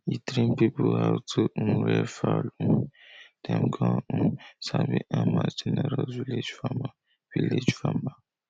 e train people how to um rear fowl um dem con um sabi am as generous village farmer village farmer